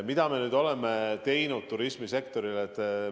Mida me nüüd oleme teinud turismisektori huvides?